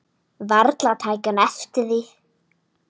Varla hún tæki eftir því.